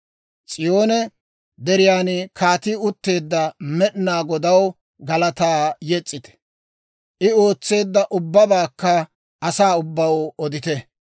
S'iyoone Deriyan kaateti utteedda Med'inaa Godaw galataa yes's'ite. I ootseedda ubbabaakka asaa ubbaw odite.